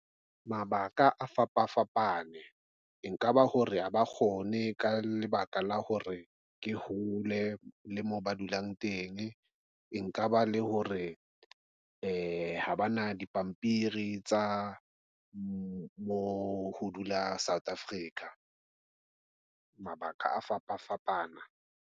Mabaka a fapafapane e nka ba hore, ha ba kgone ka lebaka la hore ke hole le moo ba dulang teng nka ba le hore, ee ha bana dipampiri tsa mo ho dula South Africa. Mabaka a fapafapana.